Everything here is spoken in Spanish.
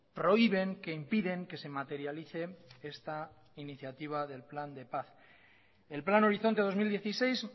prohíben que impiden que se materialice esta iniciativa del plan de paz el plan horizonte dos mil dieciséis